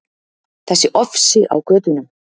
Þessi ofsi á götunum.